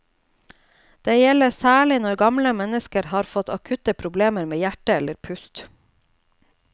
Det gjelder særlig når gamle mennesker har fått akutte problemer med hjerte eller pust.